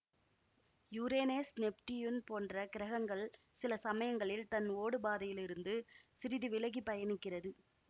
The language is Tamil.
யுரேனஸ் நெப்டியூன் போன்ற கிரகங்கள் சில சமயங்களில் தன் ஓடுபாதையிலிருந்து சிறிது விலகி பயனிக்கிறது